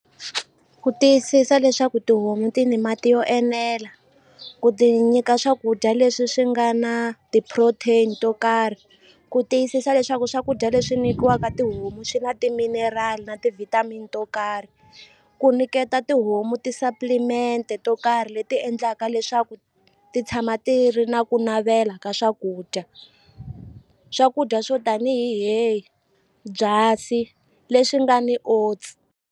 Ku tiyisisa leswaku tihomu ti ni mati yo enela ku ti nyika swakudya leswi swi nga na ti-protein to karhi ku tiyisisa leswaku swakudya leswi nyikiwaka tihomu swi na timinerali na ti-vitamin to karhi ku nyiketa tihomu ti-supplement-e to karhi leti endlaka leswaku ti tshama ti ri na ku navela ka swakudya swakudya swo tanihi byasi leswi nga ni oats.